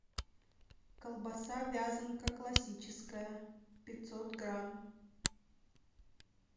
колбаса вязанка классическая пятьсот грамм